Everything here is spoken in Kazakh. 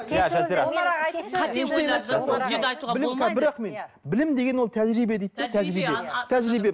білім деген ол тәжірибе дейді де тәжірибе тәжірибе